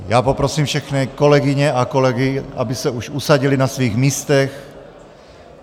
Já poprosím všechny kolegyně a kolegy, aby se už usadili na svých místech.